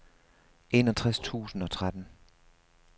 enogtres tusind og tretten